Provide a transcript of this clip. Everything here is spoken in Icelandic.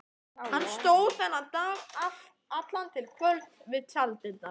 Hann stóð þennan dag allan til kvölds við tjalddyrnar.